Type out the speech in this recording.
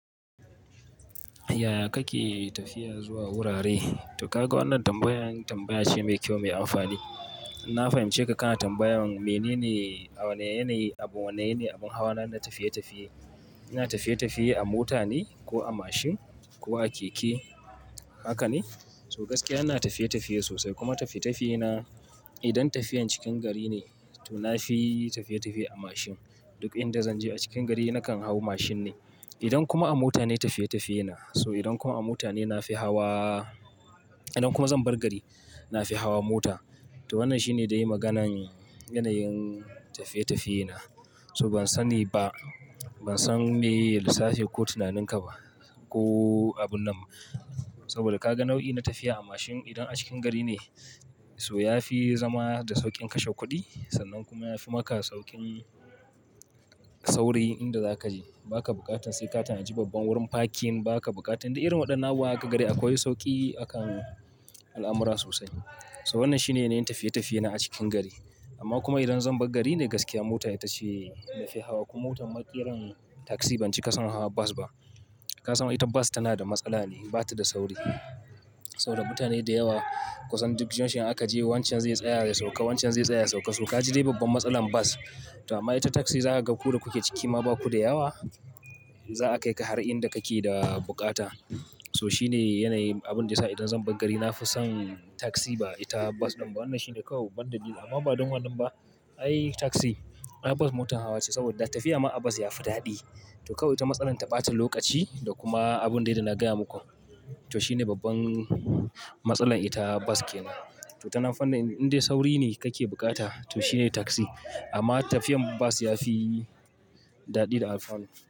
Yaya kake tafiya zuwa wurare? To kaga wannan tambayan tambaya ce mai kyau mai amfani. Na fahimci ka kana tambayan menene a wane yanayi, abin wane yanayi abin hawa na tafiye-tafiye. Ina tafiye-tafiye a mota ne ko a mashin ko a keke? Haka ne? To gaskiya ina tafiye-tafiye sosai kuma tafiye-tafiye na idan tafiyan cikin gari ne to na fi tafiye-tafiye a mashin. Duk inda zan je a cikin gari nakan hau mashin ne. Idan kuma a mota ne tafiye-tafiye na, so idan kuma a mota ne na fi hawa, idan kuma zan bar gari na fi hawa mota. To wannan shi ne da ya yi maganan yanayin tafiye-tafiye na. So ban sani ba, ban san me lissafi ko tunanin ka ba ko abun nan. Saboda ka ga nau'i na tafiya a mashin idan a cikin gari ne so ya fi zama da sauƙin kashe kuɗi sannan kuma ya fi maka sauƙin sauri inda za ka je. Ba ka buƙatan sai ka tanaji babban wurin parking ba ka buƙatan da irin waɗannan nawa a ka gari akwai sauƙi a kan al'amura sosai. So wannan shi ne yanayin tafiye-tafiye na a cikin gari. Amma kuma idan zan bar gari ne gaskiya mota ita ce na fi hawa. Kuma motar ma ƙiran taksi ban cika son hawa bas ba. Kasan ita bas tana da matsala ne, bata da sauri. So da mutane da yawa kusan duk junction aka je wancan zai tsaya da sauƙa wancan zai tsaya sauƙa. So ka ji dai babban matsalan bas. To amma ita taksi za ka ga ku da kuke ciki ma ba ku da yawa. Za a kai ka har inda kake da buƙata. So shi ne yanayin abin da ya sa idan zan bar gari na fi son taksi ba ita bas din ba. Wannan shi ne kawai bandadali. Amma ba don wannan ba ai taksi, ai bas motar hawa ce saboda tafiya ma a bas yafi daɗi. To kawai ita matsalar ta bata lokaci da kuma abun dai da na gaya muku. To shi ne babban matsalan ita bas ke nan. To tanan fannin indai sauri ne kake buƙata to shine taksi. Amma tafiyan bas yafi daɗi da alfano.